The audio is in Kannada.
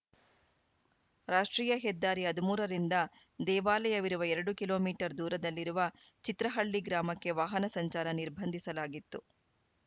ರಾಷ್ಟ್ರೀಯ ಹೆದ್ದಾರಿ ಹದಿಮೂರ ರಿಂದ ದೇವಾಲಯವಿರುವ ಎರಡು ಕಿಲೋ ಮೀಟರ್ ದೂರದಲ್ಲಿರುವ ಚಿತ್ರಹಳ್ಳಿ ಗ್ರಾಮಕ್ಕೆ ವಾಹನ ಸಂಚಾರ ನಿರ್ಬಂಧಿಸಲಾಗಿತ್ತು